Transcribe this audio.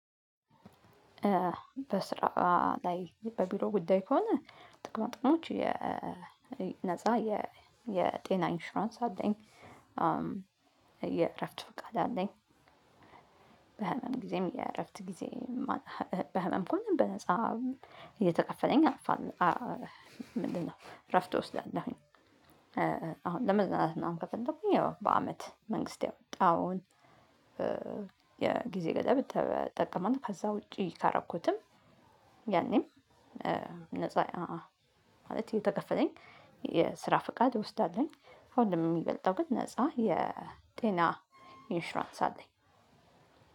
በስራ ላይ በቢሮ ጉዳይ ከሆነ ጥቅማ ጥቅሞች የነፃ የጤና ኢንሹራንስ አለኝ የእረፍት ቃል አለኝ። በህመም ጊዜም የእረፍት ጊዜ። በህመም ከሆነ በነፃ እየተከፈለኝ አርፋለሁ አ ምንድነው እረፍት እወስዳለሁኝ? አሁን ለመዝናናት ምናምን ከፈለኩኝ ያው በአመት መንግስት ያወጣሁን የጊዜ ገደብ እ እጠቀማለሁ። ከዛ ውጪ ካረኩትም ያኔም ነፃ ማለት እተከፈለኝ የስራ ፍቃድ እወስዳለሁኝ። ከሁሉም የሚበልጠው ግን ነፃ የጤና ኢንሽራንስ አለኝ።